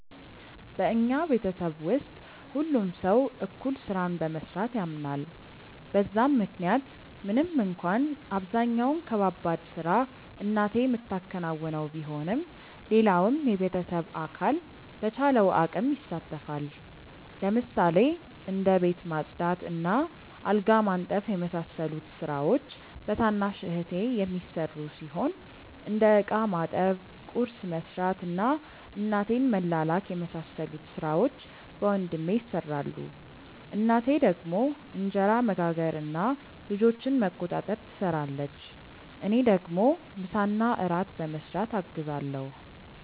በኛ ቤተሰብ ውስጥ ሁሉም ሰው እኩል ስራን በመስራት ያምናል በዛም ምክንያት ምንም እንኳን አብዛኛውን ከባባድ ስራ እናቴ ምታከናውነው ቢሆንም ሌላውም የቤተሰብ አካል በቻለው አቅም ይሳተፋል። ለምሳሌ እንደ ቤት ማጽዳት እና አልጋ ማንጠፍ የመሳሰሉት ስራዎች በታናሽ እህቴ የሚሰሩ ሲሆን እንደ እቃ ማጠብ፣ ቁርስ መስራት እና እናቴን መላላክ የመሳሰሉት ሥራዎች በወንድሜ ይሰራሉ። እናቴ ደግሞ እንጀራ መጋገር እና ልጆችን መቆጣጠር ትሰራለች። እኔ ደግሞ ምሳና እራት በመስራት አግዛለሁ።